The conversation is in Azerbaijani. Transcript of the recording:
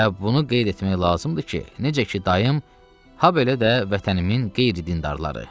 Və bunu qeyd etmək lazımdır ki, necə ki dayım, hə belə də vətənimin qeyri-dindarları.